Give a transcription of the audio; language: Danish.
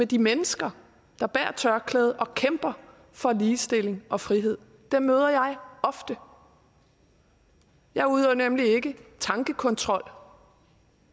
de mennesker der bærer tørklæde og kæmper for ligestilling og frihed dem møder jeg ofte jeg udøver nemlig ikke tankekontrol